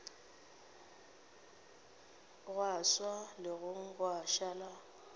gwa swa legong gwa šala